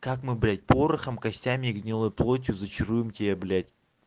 как мы блять порохом костями и гнилой плотью зачаруем тебя блять